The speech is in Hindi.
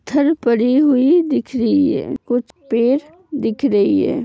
पड़ी हुई दिख रही है कुछ पेड़ दिख रही है।